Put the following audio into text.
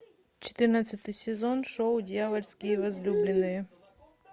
четырнадцатый сезон шоу дьявольские возлюбленные